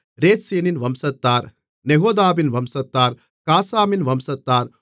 ரேத்சீனின் வம்சத்தார் நெகோதாவின் வம்சத்தார் காசாமின் வம்சத்தார்